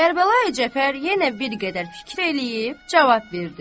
Kərbəlayı Cəfər yenə bir qədər fikir eləyib cavab verdi.